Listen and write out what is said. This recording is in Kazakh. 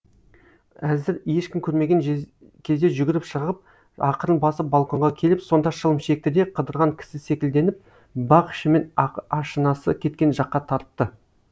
әзір ешкім көрмеген кезде жүгіріп шығып ақырын басып балконға келіп сонда шылым шекті де қыдырған кісі секілденіп бақ ішімен ашынасы кеткен жаққа тартты